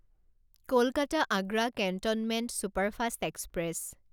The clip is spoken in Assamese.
Kolkata Agra cantonment superfast express